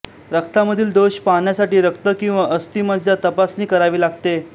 रक्तामधील दोष पाहण्यासाठी रक्त किंवा अस्थिमज्जा तपासणी करावी लागते